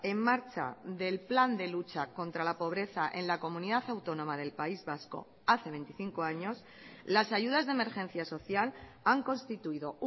en marcha del plan de lucha contra la pobreza en la comunidad autónoma del país vasco hace veinticinco años las ayudas de emergencia social han constituido